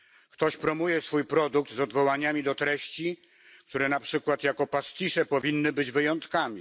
Ktoś promuje swój produkt z odwołaniami do treści, które na przykład jako pastisze powinny być wyjątkami.